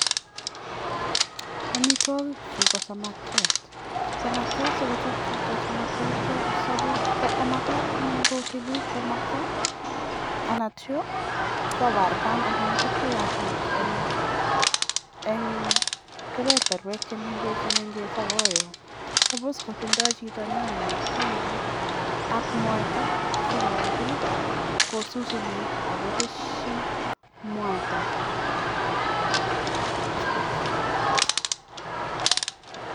amitwagi chuu ko samakiat ako (suppose) kotinyee chito nyanyek a sikopit kosusak komnyee amitwagii chutok chuuu